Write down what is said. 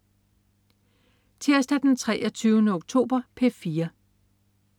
Tirsdag den 23. oktober - P4: